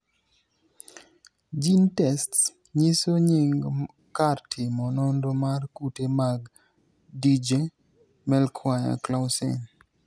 GeneTests nyiso nying kar timo nonro mar kute mag Dyggve Melchior Clausen.